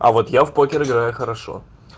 а вот я в покер играю хорошо